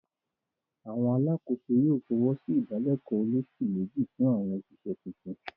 àwọn alákòóso yóò fọwọ́sí ìdálẹ̀kọ́ olósù méjì fún àwọn òṣìṣẹ́ tuntun.